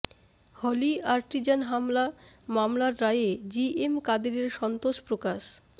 হলি Artisan হামলা মামলার রায়ে জিএম কাদেরের সন্তোষ প্রকাশ